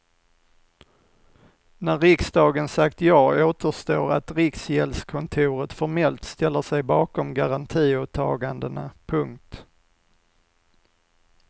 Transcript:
När riksdagen sagt ja återstår att rikgäldskontoret formellt ställer sig bakom garantiåtagandena. punkt